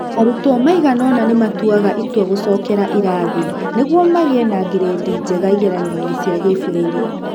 Arutwo maigana-ona nĩ matuaga itua gũcokera irathi nĩguo magĩe na ngirĩndi njega igeranio-inĩ cia gĩbũrũri.